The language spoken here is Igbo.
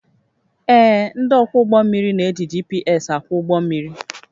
Ee, ndị ọkwọ ụgbọ mmiri na-eji GPS akwọ ụgbọ mmiri